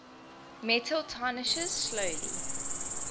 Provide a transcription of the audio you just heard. metal tarnishes slowly